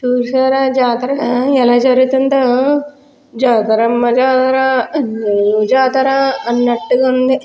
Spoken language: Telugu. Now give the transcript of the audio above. చూశారా జాతర ఎలా జరుగుతుందో జాతర అమ్మ జాతర జాతర అన్నట్టుగా ఉంది.